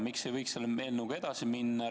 Miks ei võiks selle eelnõuga edasi minna?